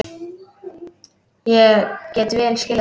Ég get vel skilið það.